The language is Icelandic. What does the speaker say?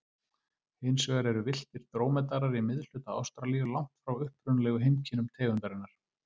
Hins vegar eru villtir drómedarar í miðhluta Ástralíu, langt frá upprunalegu heimkynnum tegundarinnar.